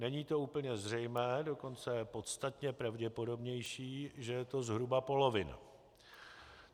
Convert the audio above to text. Není to úplně zřejmé, dokonce je podstatně pravděpodobnější, že je to zhruba polovina.